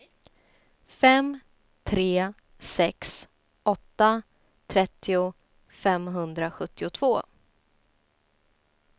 fem tre sex åtta trettio femhundrasjuttiotvå